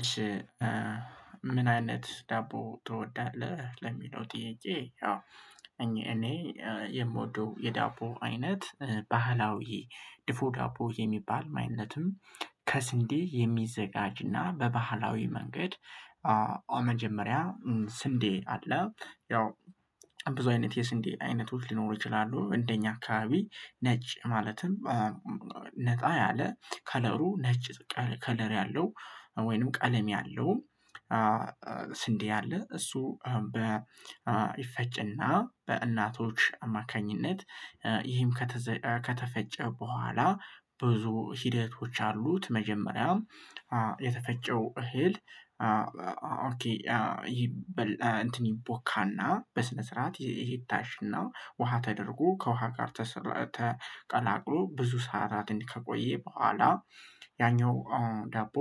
እሺ። ምን አይነት ዳቦ ትወዳለህ ለሚለው ጥያቄ እኔ የምወደው የዳቦ አይነት ባህላዊ ድፎ ዳቦ የሚባል ማይነትም። ከስንዴ የሚዘጋጅና በባህላዊ መንገድ መጀመሪያ ስንዴ አለ ያው ብዙ አይነት የስንዴ አይነቶች ሊኖሩ ይችላሉ። እንደኛ አካባቢ ነጭ ማለትም ነጣ ያለ ከለሩ ነጭ ከለር ያለው ወይንም ቀለም ያለው። ስንዴ አለ እሱ በ ይፈጭና በእናቶች አማካኝነት። ይህም ከተፈጨ በኋላ ብዙ ሂደቶች አሉት። መጀመሪያ የተፈጨው እህል። ይበል እንትን ይቦካና በስነ ስርዓት ይታሽና ውሃ ተደርጎ ከውሃ ጋር ተቀላቅሎ ብዙ ሰዓታትን ከቆየ በኋላ ያኛው ዳቦ።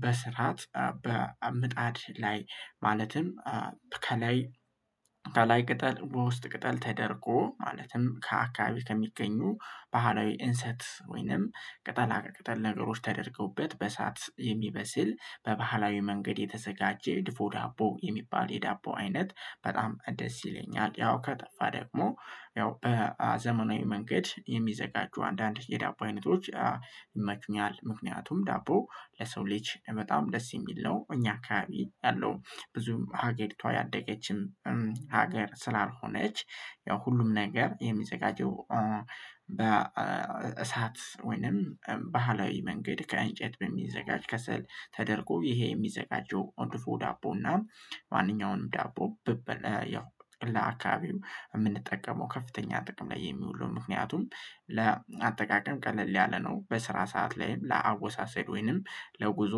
በስርዓት በምጣድ ላይ ማለትም ከላይ ከላይ ቅጠል በውስጥ ቅጠል ተደርጎ ማለትም ከአካባቢ ከሚገኙ ባህላዊ እንሰት ወይንም ቅጠል ቅጠል ነገሮች ተደርገውበት በእሳት የሚበስል በባህላዊ መንገድ የተዘጋጀ የድፎ ዳቦ የሚባል የዳቦ አይነት በጣም ደስ ይለኛል። ያው ከጠፋ ደግሞ ያው በ ዘመናዊ መንገድ የሚዘጋጁ አንዳንድ የዳቦ አይነቶች ይመቹኛል። ምክንያቱም ዳቦ ለሰው ልጅ በጣም ደስ የሚል ነው። እኛ አካባቢ ያለው ብዙም ሀገሪቷ ያደገችም ሀገር ስላልሆነች ያው ሁሉም ነገር የሚዘጋጀው በ እሳት ወይንም ባህላዊ መንገድ ከእንጨት በሚዘጋጅ ከሰል ተደርጎ ይሄ የሚዘጋጀው ድፎ ዳቦና። ማንኛውንም ዳቦ ብበል ያው ለአካባቢው የምንጠቀመው ከፍተኛ ጥቅም ላይ የሚውሉ ምክንያቱም ለአጠቃቀም ቀለል ያለ ነው። በስራ ሰዓት ላይም ለአወሳሰድ ወይንም ለጉዞ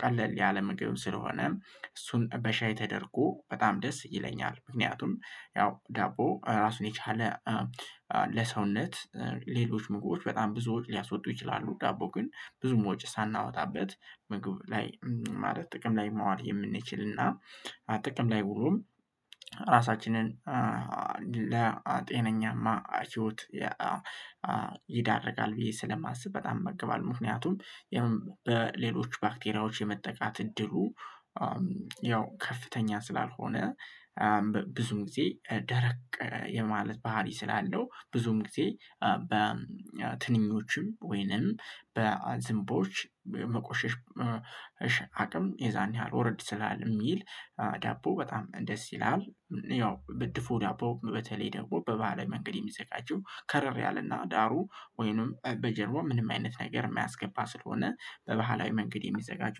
ቀለል ያለ ምግብ ስለሆነ እሱን በሻይ ተደርጎ በጣም ደስ ይለኛል። ምክንያቱም ያው ዳቦ ራሱን የቻለ ለሰውነት ሌሎች ምግቦች በጣም ብዙዎች ሊያስወጡ ይችላሉ። ዳቦ ግን ብዙም ወጪ ሳናወጣበት ምግብ ላይ ማለት ጥቅም ላይ ማዋል የምንችል እና ጥቅም ላይ ውሎም ራሳችንን ለጤነኛማ ህይወት ይዳርጋል። ብዬ ስለማስብ በጣም መገባለሁ ምክንያቱም በሌሎች ባክቴሪያዎች የመጠቃት እድሉ ያው ከፍተኛ ስላልሆነ። ብዙም ጊዜ ደረቅ የማለት ባህሪ ስላለው ብዙም ጊዜ በትንኞችም ወይንም በዝንቦች መቆሸሽ አቅም የዛን ያህል ወረድ ስላልሚል ዳቦ በጣም ደስ ይላል። ያው ብ ድፎ ዳቦ በተለይ ደግሞ በባህላዊ መንገድ የሚዘጋጀው ከረር ያለና ዳሩ ወይንም በጀርባው ምንም አይነት ነገር የማያስገባ ስለሆነ በባህላዊ መንገድ የሚዘጋጁ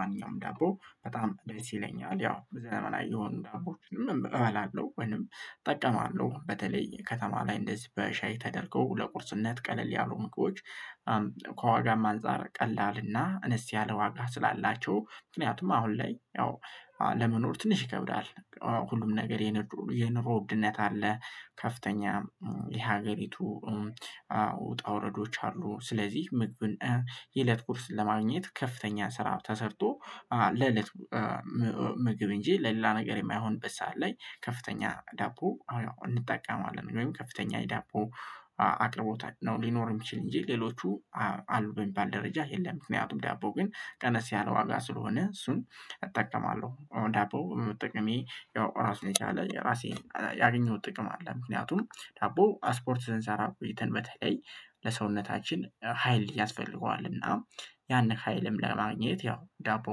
ማንኛውም ዳቦ በጣም ደስ ይለኛል። ያው ዘመናዊ የሆኑ ዳቦችንም እበላለሁ ወይንም እጠቀማለሁ በተለይ ከተማ ላይ እንደዚህ በሻይ ተደርገው ለቁርስነት ቀለል ያሉ ምግቦች። ከዋጋም አንፃር ቀላልና አነስ ያለ ዋጋ ስላላቸው ምክንያቱም አሁን ላይ ያው ለመኖር ትንሽ ይከብዳል። ሁሉም ነገር የኑሮ ውድነት አለ ከፍተኛ የሀገሪቱ ውጣ ውረዶች አሉ። ስለዚህ ምግብን የእለት ጉርስ ለማግኘት ከፍተኛ ስራ ተሰርቶ ለለት ምግብ እንጂ ለሌላ ነገር የማይሆንበት ሰዓት ላይ ከፍተኛ ዳቦ አዎ እንጠቀማለን ወይም ከፍተኛ የዳቦ አቅርቦት ነው። ሊኖር የሚችል እንጂ ሌሎቹ አሉ የሚባል ደረጃ የለም። ምክንያቱም ዳቦ ግን ቀነስ ያለ ዋጋ ስለሆነ እሱን እጠቀማለሁ ዳቦ በመጠቀሜ ያው ራሱን የቻለ ራሴን ያገኘሁት ጥቅም አለ። ምክንያቱም ዳቦ ስፖርት ስንሰራ ቆይተን በተለይ ለሰውነታችን ሀይል ያስፈልገዋል። እና ያንን ሀይልም ለማግኘት ያው ዳቦ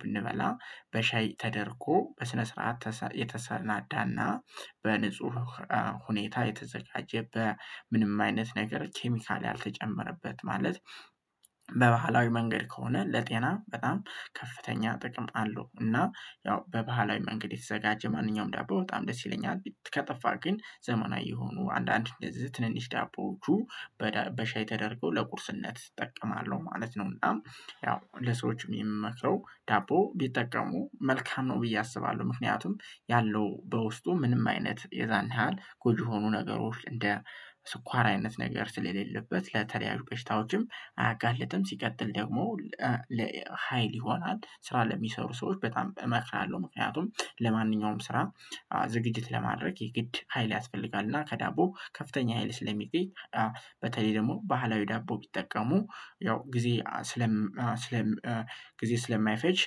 ብንበላ በሻይ ተደርጎ በስነ ስርዓት የተሰናዳና በንጹህ ሁኔታ የተዘጋጀ በ ምንም አይነት ነገር ኬሚካል ያልተጨመረበት ማለት በባህላዊ መንገድ ከሆነ ለጤና በጣም ከፍተኛ ጥቅም አለው። እና ያው በባህላዊ መንገድ የተዘጋጀ ማንኛውም ዳቦ በጣም ደስ ይለኛል። ከጠፋ ግን ዘመናዊ የሆኑ አንዳንድ እንደዚህ ትንንሽ ዳቦዎቹ በሻይ ተደርገው ለቁርስነት እጠቀማለሁ ማለት ነው። እና ያው ለሰዎችም የምመክረው ዳቦ ቢጠቀሙ መልካም ነው ብዬ አስባለሁ። ምክንያቱም ያለው በውስጡ ምንም አይነት የዛን ያህል ጎጂ የሆኑ ነገሮች እንደ ስኳር አይነት ነገር ስለሌለበት ለተለያዩ በሽታዎችም አያጋልጥም። ሲቀጥል ደግሞ ለሃይል ይሆናል። ስራ ለሚሰሩ ሰዎች በጣም እመክራለሁ ምክንያቱም ለማንኛውም ስራ ዝግጅት ለማድረግ የግድ ሀይል ያስፈልጋል እና ከዳቦ ከፍተኛ ሀይል ስለሚገኝ። በተለይ ደግሞ ባህላዊ ዳቦ ቢጠቀሙ ያው ጊዜ ስለ ስለ ጊዜ ስለማይፈጅ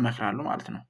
እመክራለሁ ማለት ነው።